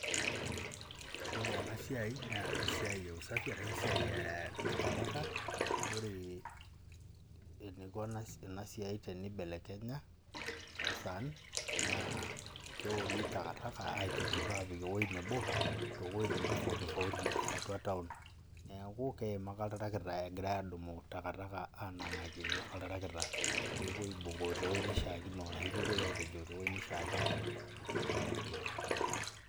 Ore enasiai na esiai eusafi ashu esiai etakataka ore eniko enasiai tenibelekenya naa keori takataka apik ewueji nabo tiatu taun, neaku keima ake oltarakita egira adumu takataka apik olori ashu pepuoi apejoo tewoi naishaakino.